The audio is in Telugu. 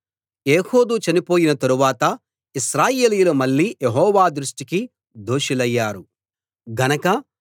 ఏహూదు చనిపోయిన తరువాత ఇశ్రాయేలీయులు మళ్ళీ యెహోవా దృష్టికి దోషులయ్యారు గనక